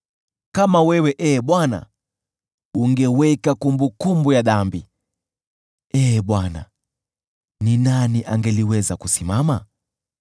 Kama wewe, Ee Bwana , ungeweka kumbukumbu ya dhambi, Ee Bwana, ni nani angeliweza kusimama?